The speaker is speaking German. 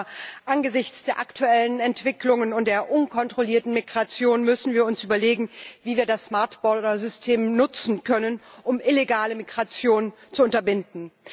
Aber angesichts der aktuellen Entwicklungen und der unkontrollierten Migration müssen wir uns überlegen, wie wir das System nutzen können, um illegale Migration zu unterbinden.